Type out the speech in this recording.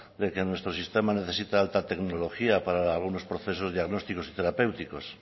de que nuestro sistema necesita alta tecnología para algunos procesos diagnósticos y terapéuticos